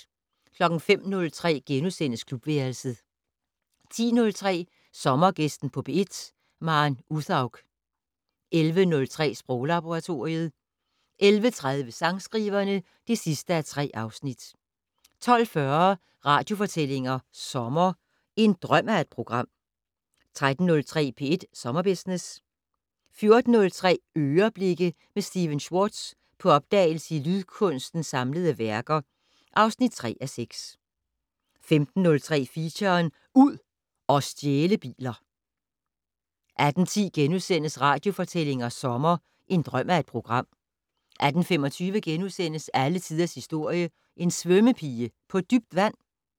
05:03: Klubværelset * 10:03: Sommergæsten på P1: Maren Uthaug 11:03: Sproglaboratoriet 11:30: Sangskriverne (3:3) 12:40: Radiofortællinger sommer: En drøm af et program 13:03: P1 Sommerbusiness 14:03: "Øreblikke" med Stephen Schwartz - på opdagelse i en lydkunstners samlede værker (3:6) 15:03: Feature: Ud og stjæle biler 18:10: Radiofortællinger sommer: En drøm af et program * 18:25: Alle tiders historie: En svømmepige på dybt vand? *